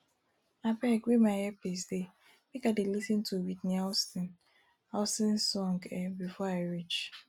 abeg where my earpiece dey make i dey lis ten to whitney houston houston song um before i reach